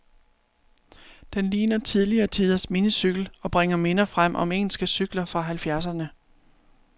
Den ligner tidligere tiders minicykel, og bringer minder frem om engelske cykler fra halvfjerdserne.